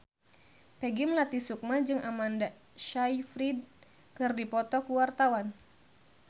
Peggy Melati Sukma jeung Amanda Sayfried keur dipoto ku wartawan